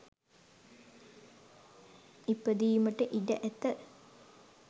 ඉපදීමට ඉඩ ඇත.